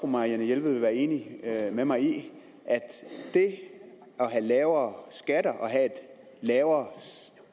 marianne jelved vil være enig med mig i at det at have lavere skatter og have et lavere